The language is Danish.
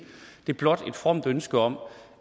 det er blot et fromt ønske om